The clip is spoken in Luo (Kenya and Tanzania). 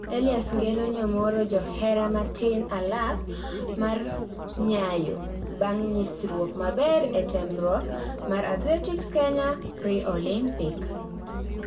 Elias Ng'eno nyomoro johera matin alap mar Nyayo bang' nyisruok maber ee temruok mar Athletics Kenya pre-Olympic